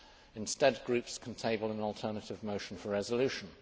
Instead, groups can table an alternative motion for resolution.